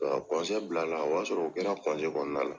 bila la, o y'a sɔrɔ, o kɛra kɔnɔna la